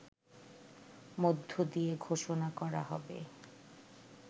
মধ্য দিয়ে ঘোষণা করা হবে